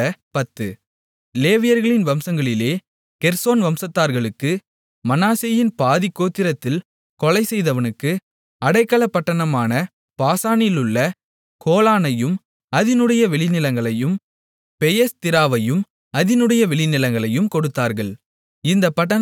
லேவியர்களின் வம்சங்களிலே கெர்சோன் வம்சத்தார்களுக்கு மனாசேயின் பாதிக் கோத்திரத்தில் கொலை செய்தவனுக்கு அடைக்கலப்பட்டணமான பாசானிலுள்ள கோலானையும் அதினுடைய வெளிநிலங்களையும் பெயேஸ்திராவையும் அதினுடைய வெளிநிலங்களையும் கொடுத்தார்கள் இந்தப் பட்டணங்கள் இரண்டு